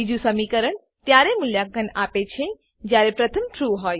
બીજું સમીકરણ ત્યારે મુલ્યાંકન આપેછે જયારે પ્રથમ ટ્રૂ